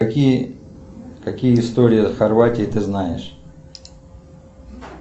какие какие истории о хорватии ты знаешь